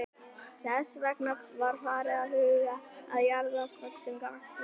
Þess vegna var farið að huga að jarðföstum gasklefum.